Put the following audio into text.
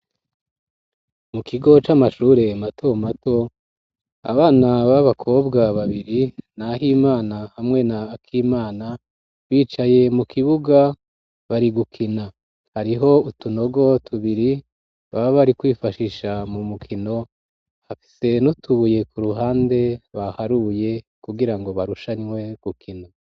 Mu kigo c'amashure mato mato abana babakobwa babiri na Himana hamwe na Akimana bicaye mu kibuga bari gukina hariho utunogo tubiri baba bari kwifashisha mu mukino bafise n'utubuye ku ruhande baharuye kugira ngo barushanywe gukina.